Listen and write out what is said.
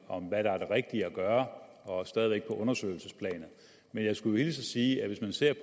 om hvad der er det rigtige at gøre og stadig undersøgelsesplanet men jeg skulle hilse og sige at hvis man ser